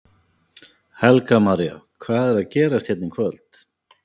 Helga María: Hvað er að gerast hérna í kvöld?